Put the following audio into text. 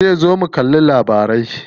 Zai zo mu kalli labarai.